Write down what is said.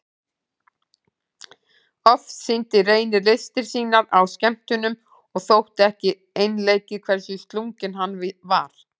Oft sýndi Reynir listir sínar á skemmtunum og þótti ekki einleikið hversu slunginn hann var.